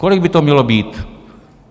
Kolik by to mělo být?